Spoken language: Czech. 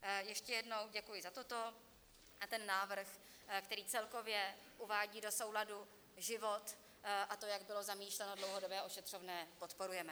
Ještě jednou děkuji za toto a ten návrh, který celkově uvádí do souladu život, a to, jak bylo zamýšleno, dlouhodobé ošetřovné, podporujeme.